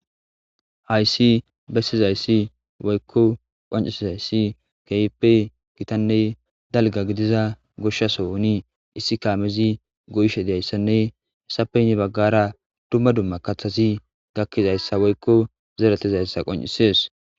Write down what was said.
Hayssi bessizayssi woykko qonccissizayssi keehippe githanne dalga gidiza goshsha sohoni issi kaamezi goyishe diyayssanne esappe hini baggara dumma dumma kaththathi gakkizayssa woykko zereththizaysa qonccisses.